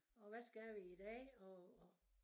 Og hvad skal vi i dag og og